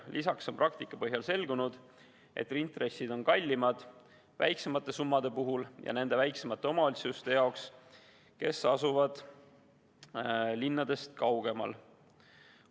Lisaks on praktika põhjal selgunud, et intressid on kallimad väiksemate summade puhul ja nende väiksemate omavalitsuste jaoks, kes asuvad linnadest kaugemal.